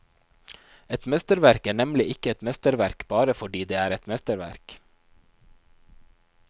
Et mesterverk er nemlig ikke et mesterverk bare fordi det er et mesterverk.